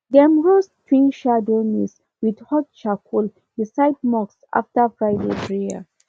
dem roast twin shadow maize with hot charcoal beside mosque after friday prayer